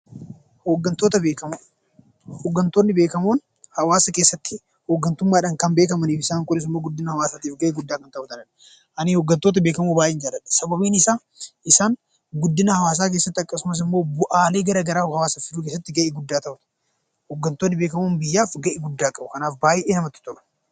Hoggantootni beekamoon hawaasa keessatti hoggantummaadhaan kan beekamanii fi isaan kunimmoo guddina hawaasaatiif gahee guddaa kan taphatanidha. Ani hoggantoota beekamoo baay'ee jaaladha. Sababiin isaa isaan guddina hawaasaa keessatti akkasumas immoo bu'aalee gara garaa hawaasaaf fiduu keessatti gahee guddaa taphatu. Hoggantootni beekamoon biyyaaf gahee guddaa qabu. Kanaaf baay'ee namatti tolu.